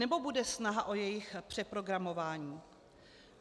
Nebo bude snaha o jejich přeprogramování?